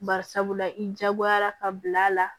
Bari sabula i jagoyara ka bila a la